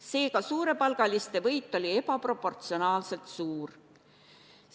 Seega, suurepalgaliste võit oli ebaproportsionaalselt suur.